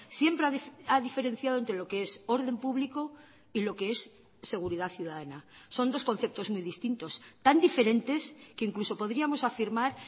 siempre ha diferenciado entre lo que es orden público y lo que es seguridad ciudadana son dos conceptos muy distintos tan diferentes que incluso podríamos afirmar